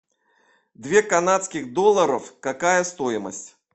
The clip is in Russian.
две канадских долларов какая стоимость